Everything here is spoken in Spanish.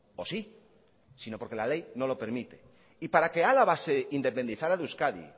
o sí sino porque la ley no lo permite y para que álava se independizara de euskadi